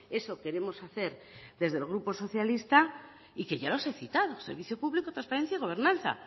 eso queremos hacer desde el grupo socialista y que ya los he citado servicio público transparencia y gobernanza